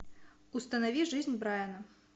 установи жизнь брайана